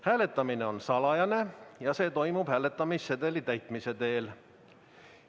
Hääletamine on salajane ja see toimub hääletamissedeli täitmise teel.